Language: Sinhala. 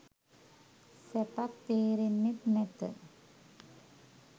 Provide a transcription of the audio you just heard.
සැපක් තේරෙන්නෙත් නැත